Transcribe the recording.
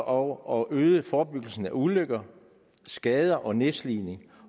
og at øge forebyggelsen af ulykker skader og nedslidning